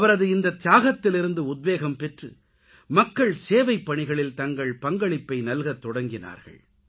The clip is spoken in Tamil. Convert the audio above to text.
அவரது இந்தத் தியாகத்திலிருந்து உத்வேகம் பெற்று மக்கள் சேவைப்பணிகளில் தங்கள் பங்களிப்பை நல்கத்தொடங்கினார்கள்